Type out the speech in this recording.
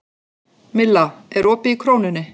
Milla, er opið í Krónunni?